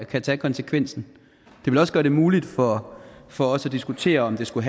kan tage konsekvensen det vil også gøre det muligt for for os at diskutere om det skulle